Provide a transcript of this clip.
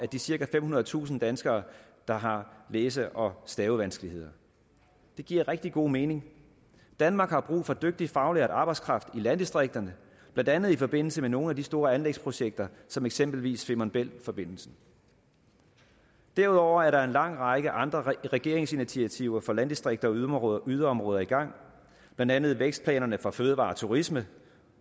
de cirka femhundredetusind danskere der har læse og stavevanskeligheder det giver rigtig god mening danmark har brug for dygtig faglært arbejdskraft i landdistrikterne blandt andet i forbindelse med nogle af de store anlægsprojekter som eksempelvis femern bælt forbindelsen derudover er der en lang række andre regeringsinitiativer for landdistrikter og yderområder yderområder i gang blandt andet vækstplanerne for fødevarer og turisme